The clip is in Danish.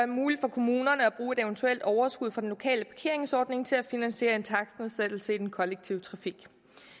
muligt for kommunerne at bruge et eventuelt overskud fra den lokale parkeringsordning til at finansiere en takstnedsættelse i den kollektive trafik